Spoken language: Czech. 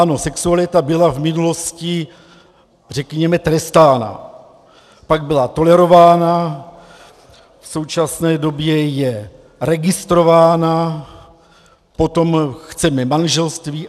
Ano, sexualita byla v minulosti řekněme trestána, pak byla tolerována, v současné době je registrována, potom chceme manželství.